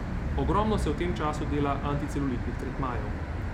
Ogromno se v tem času dela anticelulitnih tretmajev.